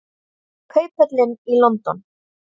Kauphöllin í London.